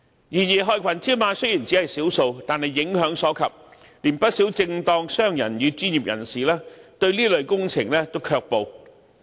然而，害群之馬雖然只是少數，但影響所及，連不少正當商人與專業人士亦對這類工程卻步。